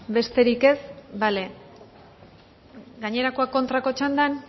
besterik ez bale gainerakoak kontrako txandan